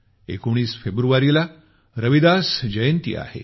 19 फेब्रुवारीला रविदास जयंती आहे